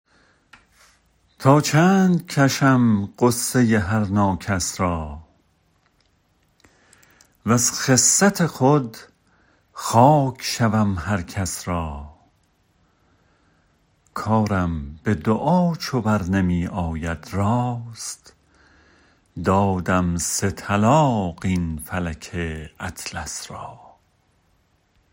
تا چند کشم غصه هر ناکس را وز خست خود خاک شوم هر کس را کارم به دعا چو برنمی آید راست دادم سه طلاق این فلک اطلس را